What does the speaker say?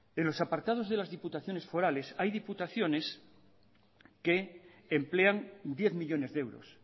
en los apartados de las diputaciones forales hay diputaciones que emplean diez millónes de euros